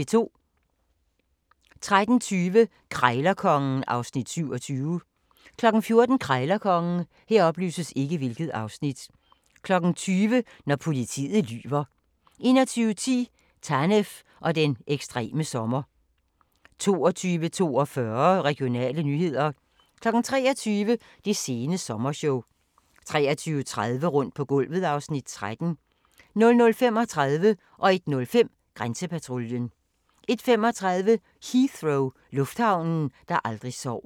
13:20: Krejlerkongen (Afs. 27) 14:00: Krejlerkongen 20:00: Når politiet lyver 21:10: Tanev og den ekstreme sommer 22:42: Regionale nyheder 23:00: Det sene sommershow 23:30: Rundt på gulvet (Afs. 13) 00:35: Grænsepatruljen 01:05: Grænsepatruljen 01:35: Heathrow - lufthavnen, der aldrig sover